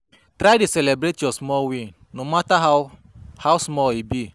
Try dey celibrate yur small win no mata how how small e be